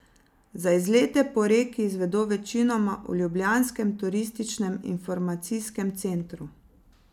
Za izlete po reki izvedo večinoma v ljubljanskem turističnem informacijskem centru.